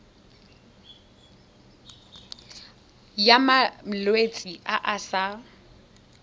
ya malwetse a a sa